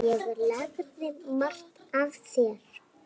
Ég lærði margt af þér.